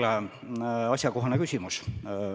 Jälle asjakohane küsimus.